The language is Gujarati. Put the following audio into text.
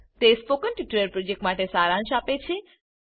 તે સ્પોકન ટ્યુટોરીયલ પ્રોજેક્ટનો સારાંશ આપે છે